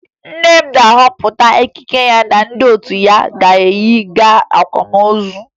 Nne m na-ahọpụta ekike ya na ndị otu ya ga-eyi gaa akwamozu